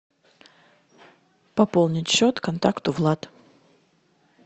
пополнить счет контакту влад